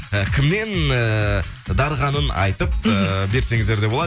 э кіммен эээ дарығанын айтып эээ берсеңіздер де болады